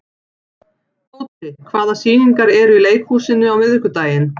Tóti, hvaða sýningar eru í leikhúsinu á miðvikudaginn?